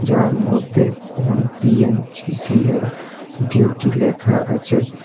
এরমধ্যে on TNGCL duty লেখা আছে।